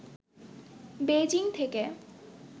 Beijing থেকে